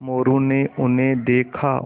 मोरू ने उन्हें देखा